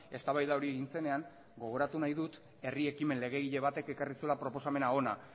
eztabaida hori egin zenean gogoratu nahi dut herri ekimen legegile batek ekarri zuela proposamen hona